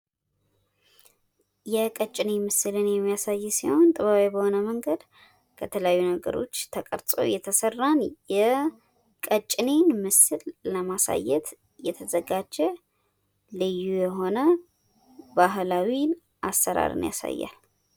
የቀጭኔ ምስልን የሚያሳይ ሲሆን ጥበባዊ በሆነ መንገድ ከተለያዩ ነገሮች ተቀርጾ የተሰራን የቀጭኔን ምስል ለማሳየት የተዘጋጀ ልዩ የሆነ ባህላዊ አሰራርን ያሳያል።